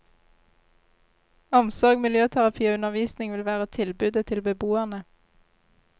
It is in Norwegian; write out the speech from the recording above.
Omsorg, miljøterapi og undervisning vil være tilbudet til beboerne.